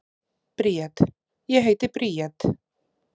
Bríet: Ég heiti Bríet.